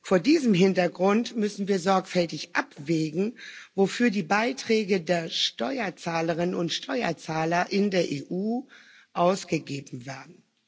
Vor diesem Hintergrund müssen wir sorgfältig abwägen, wofür die Beiträge der Steuerzahlerinnen und Steuerzahler in der EU ausgegeben werden.